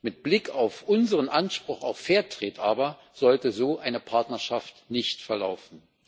Mit Blick auf unseren Anspruch auf fair trade sollte eine Partnerschaft nicht so verlaufen.